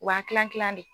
U b'an kilan kilan de